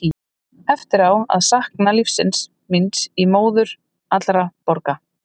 Ég á eftir að sakna lífsins míns í móður allra borga.